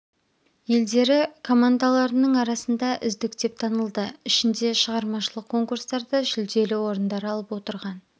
елдері комадаларының арасында үздік деп танылды ішінде шығармашылық конкурстарда жүлделі орындар алып отырған